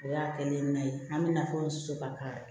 O y'a kɛlen ye na ye an bɛ nafolo sɔrɔ ka